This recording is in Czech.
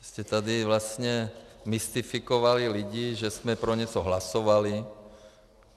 Jste tady vlastně mystifikovali lidi, že jsme pro něco hlasovali.